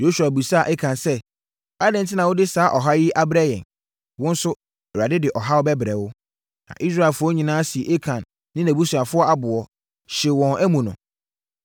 Yosua bisaa Akan sɛ, “Adɛn enti na wode saa ɔhaw yi abrɛ yɛn? Wo nso, Awurade de ɔhaw bɛbrɛ wo.” Na Israelfoɔ nyinaa sii Akan ne nʼabusuafoɔ aboɔ, hyee wɔn amu no.